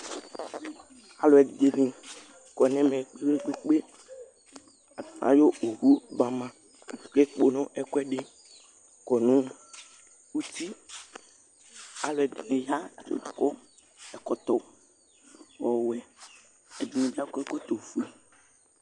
Alʋɛdìní kɔ nʋ ɛmɛ kpe kpe kpe Ayɔ owu ba ma kʋ ekpono ɛkʋɛdi kɔ nʋ ʋti Alʋɛdìní ya kʋ akɔ ɛkɔtɔ ɔwɛ Alʋɛdìní akɔ ɛkɔtɔ ɔfʋe